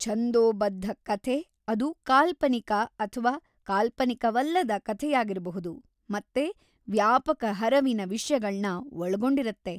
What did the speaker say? ಛಂದೋಬದ್ಧ ಕಥೆ ಅದು ಕಾಲ್ಪನಿಕ ಅಥ್ವಾ ಕಾಲ್ಪನಿಕವಲ್ಲದ ಕಥೆಯಾಗಿರ್ಬಹುದು ಮತ್ತೆ ವ್ಯಾಪಕ ಹರವಿನ ವಿಷ್ಯಗಳ್ನ ಒಳ್ಗೊಂಡಿರುತ್ತೆ.